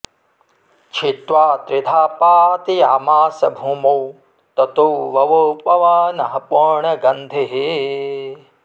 छित्त्वा त्रिधा पातयामास भूमौ ततो ववौ पवनः पुण्यगन्धिः